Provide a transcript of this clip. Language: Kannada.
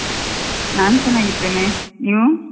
ನಾನು ಚೆನ್ನಾಗಿದ್ದೇನೆ. ನೀವು?